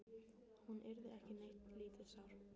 Hún yrði ekki neitt lítið sár.